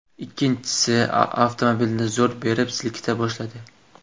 Ikkinchisi avtomobilni zo‘r berib silkita boshladi.